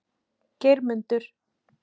Geirmundur